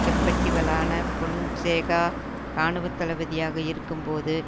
கெப்பட்டிவலான பொன்சேகா இராணுவ தளபதியாக இருக்கும் போது